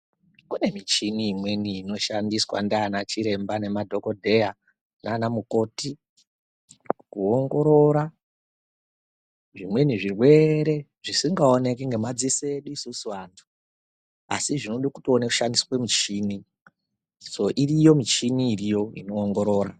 Kune michini imweni inoshandiswa ndiana chiremba nemadhogodheya nana mukoti. Kuongorora zvimweni zvirwere zvisingaoneki ngemadziso edu isusu vantu. Asi zvinode kushandiswa muchini soo iriyo michini iriyo inoongorora.